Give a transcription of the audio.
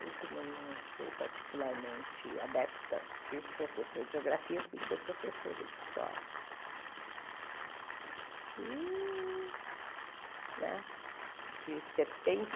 Eu, como não sou particularmente adepta de professor de Geografia, fui ser professora de História.